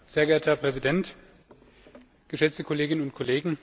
Herr Präsident, geschätzte Kolleginnen und Kollegen!